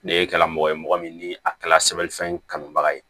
Ne kɛla mɔgɔ ye mɔgɔ min ni a kɛla sɛbɛn fɛn kanubaga ye